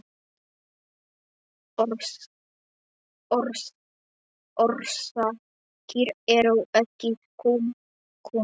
Orsakir eru ekki kunnar.